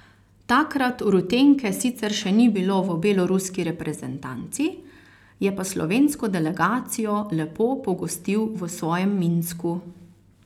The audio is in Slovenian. Takrat Rutenke sicer še ni bilo v beloruski reprezentanci, je pa slovensko delegacijo lepo pogostil v svojem Minsku.